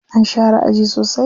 An share aji sosai.